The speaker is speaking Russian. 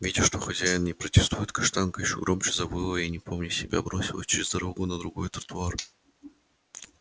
видя что хозяин не протестует каштанка ещё громче завыла и не помня себя бросилась через дорогу на другой тротуар